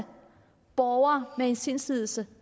borgere med en sindslidelse